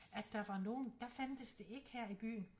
At der var nogen der fandtes det ikke her i byen